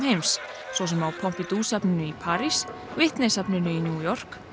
heims svo sem á Pompidou safninu í París Whitney safninu í New York